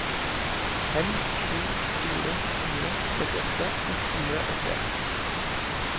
fem sju fire fire trettiåtte ett hundre og tre